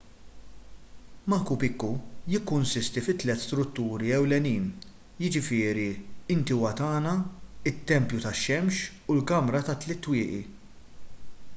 machu picchu jikkonsisti fi tliet strutturi ewlenin jiġifieri intihuatana it-tempju tax-xemx u l-kamra tat-tliet twieqi